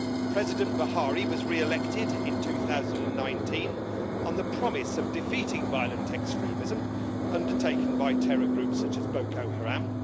President Buhari was re elected in 2019 on the promise of defeating violent extremism undertaken by terror groups such as Boko Haram.